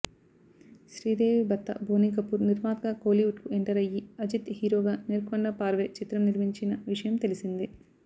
శ్రీదేవి భర్త బోనీకపూర్ నిర్మాతగా కోలీవుడ్కు ఎంటర్ అయ్యి అజిత్ హీరోగా నేర్కొండ పార్వై చిత్రం నిర్మించిన విషయం తెలిసిందే